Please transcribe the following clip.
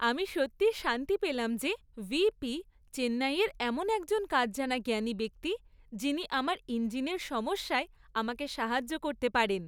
আমি সত্যিই শান্তি পেলাম যে, ভিপি চেন্নাইয়ের এমন একজন কাজ জানা জ্ঞানী ব্যক্তি , যিনি আমার ইঞ্জিনের সমস্যায় আমাকে সাহায্য করতে পারেন।